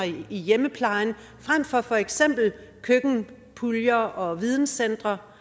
i hjemmeplejen frem for for eksempel køkkenpuljer og videnscentre